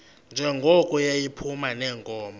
njengoko yayiphuma neenkomo